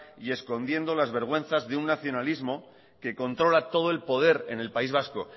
y escondiendo las vergüenzas de un nacionalismo que controla todo el poder en el país vasco